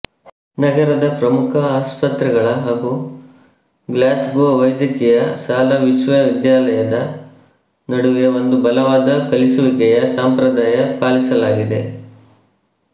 ನಗರದ ಪ್ರಮುಖ ಆಸ್ಪತ್ರೆಗಳ ಹಾಗೂ ಗ್ಲ್ಯಾಸ್ಗೋ ವೈದ್ಯಕೀಯ ಶಾಲಾ ವಿಶ್ವವಿದ್ಯಾಲಯದ ನಡುವೆ ಒಂದು ಬಲವಾದ ಕಲಿಸುವಿಕೆಯ ಸಂಪ್ರದಾಯ ಪಾಲಿಸಲಾಗಿದೆ